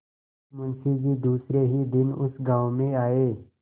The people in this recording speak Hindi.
मुँशी जी दूसरे ही दिन उस गॉँव में आये